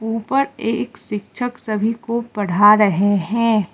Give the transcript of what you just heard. ऊपर एक शिक्षक सभी को पढ़ा रहे हैं।